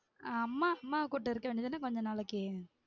ஆஹ் அம்மா அம்மாவ கூட்டு இருக்க வேண்டியதான கொஞ்ச நாளைக்கு